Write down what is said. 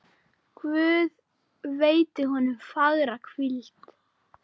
Guð veiti honum fagra hvíld.